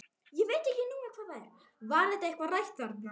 Var þetta eitthvað rætt þarna?